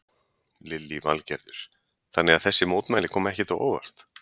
Lillý Valgerður: Þannig að þessi mótmæli koma ekkert á óvart?